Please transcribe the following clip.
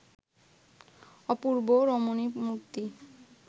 অপূর্ব রমণীমূর্তি